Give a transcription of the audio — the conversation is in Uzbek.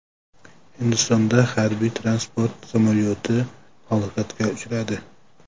Hindistonda harbiy-transport samolyoti halokatga uchradi.